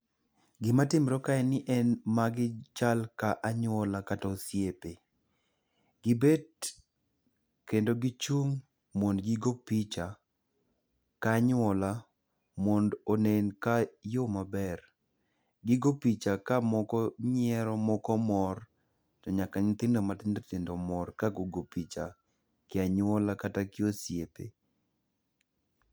Gimatimre ka en ni magi chal ka anyuola kata osiepe. Gibet kendo gichung' mondo gigo picha ga nyuola mondo onen ka yo maber. Gigo picha ka moko nyiero, moko mor, to nyaka nyithindo matindo tindo mor kagogo picha, gi anyuola kata gi osiepe.